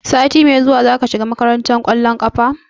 Sati mai zuwa zaka shiga makarantar ƙwallon ƙafa?